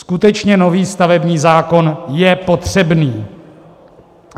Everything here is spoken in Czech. Skutečně nový stavební zákon je potřebný.